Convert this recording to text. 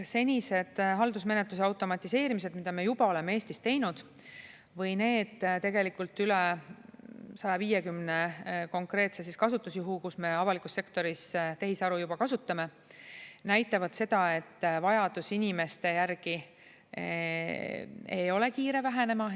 Senised haldusmenetluse automatiseerimised, mida me juba oleme Eestis teinud, või need tegelikult üle 150 konkreetse kasutusjuhu, kus me avalikus sektoris tehisaru juba kasutame, näitavad seda, et vajadus inimeste järgi ei ole kiire vähenema.